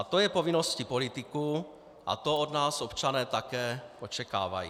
A to je povinností politiků a to od nás občané také očekávají.